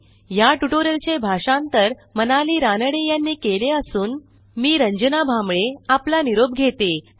ह्या ट्युटोरियलचे भाषांतर मनाली रानडे यांनी केले असून मी रंजना भांबळे आपला निरोप घेते160